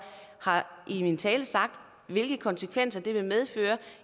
har i min tale sagt hvilke konsekvenser det vil medføre